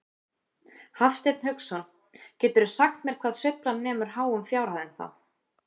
Hafsteinn Hauksson: Geturðu sagt mér hvað sveiflan nemur háum fjárhæðum þá?